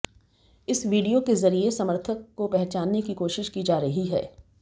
इस वीडियो के जरिए समर्थक को पहचानने की कोशिश की जा रही है